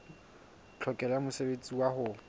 tlhokeho ya mosebetsi wa ho